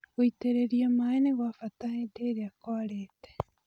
Gũitĩrĩria maĩ nĩgwabata hĩndĩ ĩrĩa kwarĩte.